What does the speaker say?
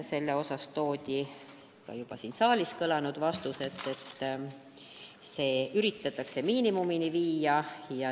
Selle kohta toodi ka juba siin saalis kõlanud vastus, et see võimalus üritatakse miinimumini viia.